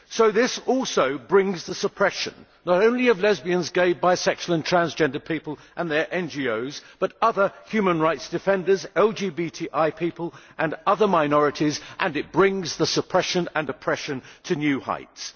This also brings the suppression, not only of lesbian, gay, bisexual and transgender people and their NGOs, but of other human rights defenders, LGBTI people and other minorities, and it brings the suppression and oppression to new heights.